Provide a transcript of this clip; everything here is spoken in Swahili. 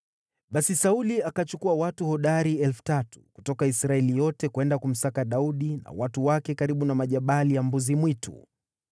Basi Sauli akachukua watu hodari 3,000 kutoka Israeli yote kwenda kumsaka Daudi na watu wake karibu na Majabali ya Mbuzi-Mwitu.